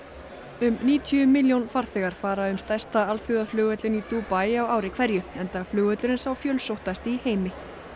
um níutíu milljón farþegar fara um stærsta alþjóðaflugvöllinn í Dubai á ári hverju enda flugvöllurinn sá fjölsóttasti í heimi